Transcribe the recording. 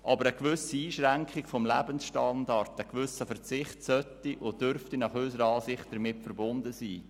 Aber eine gewisse Einschränkung des Lebensstandards, ein gewisser Verzicht sollte und dürfte damit verbunden sein.